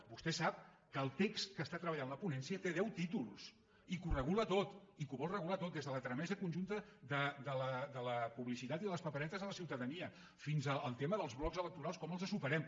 vostè sap que el text que està treballant la ponència té deu títols i que ho regula tot i que ho vol regular tot des de la tramesa conjunta de la publicitat i de les paperetes a la ciutadania fins al tema dels blocs electorals com els superem